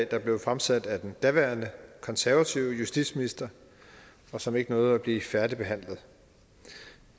der blev fremsat af den daværende konservative justitsminister og som ikke nåede at blive færdigbehandlet